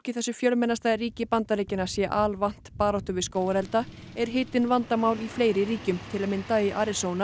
í þessu fjölmennasta ríki Bandaríkjanna sé alvant baráttu við skógarelda er hitinn vandamál í fleiri ríkjum til að mynda í